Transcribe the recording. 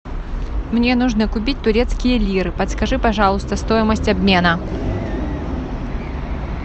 мне нужно купить турецкие лиры подскажи пожалуйста стоимость обмена